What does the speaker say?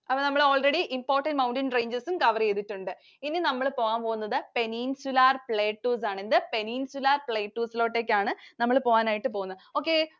അപ്പോൾ നമ്മൾ already important mountain ranges ഉം cover ചെയ്തിട്ടുണ്ട്. ഇനി നമ്മൾ പോകാൻപോകുന്നത് Peninsular Plateaus ആണ്. എന്ത് Peninsular Plateaus ലോട്ടേക്കാണ് നമ്മൾ പോകാനായിട്ട് പോകുന്നത് okay